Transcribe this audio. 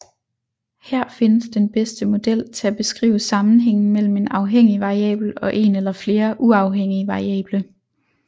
Her findes den bedste model til at beskrive sammenhængen mellem en afhængig variabel og en eller flere uafhængige variable